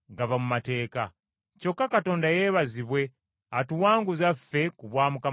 Kyokka Katonda yeebazibwe atuwanguza ffe ku bwa Mukama waffe Yesu Kristo.